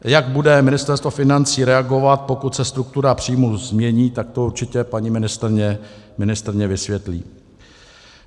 Jak bude Ministerstvo financí reagovat, pokud se struktura příjmů změní, tak to určitě paní ministryně vysvětlí.